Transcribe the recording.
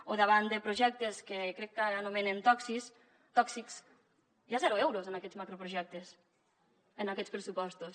o davant de projectes que crec que anomenen tòxics hi ha zero euros en aquests macroprojectes en aquests pressupostos